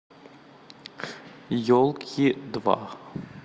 елки два